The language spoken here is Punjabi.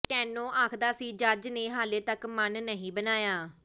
ਸਟੈਨੋ ਆਖਦਾ ਸੀ ਜੱਜ ਨੇ ਹਾਲੇ ਤਕ ਮਨ ਨਹੀਂ ਬਣਾਇਆ